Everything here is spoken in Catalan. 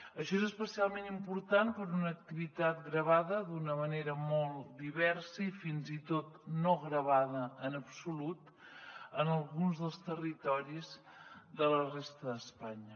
això és especialment important per a una activitat gravada d’una manera molt diversa i fins i tot no gravada en absolut en alguns dels territoris de la resta d’espanya